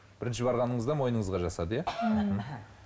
бірінші барғаныңызда мойныңызға жасады иә мхм